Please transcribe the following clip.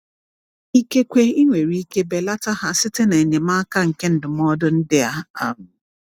Ikekwe ị nwere ike belata ha site na enyemaka nke ndụmọdụ ndị a. um